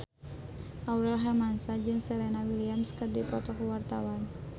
Aurel Hermansyah jeung Serena Williams keur dipoto ku wartawan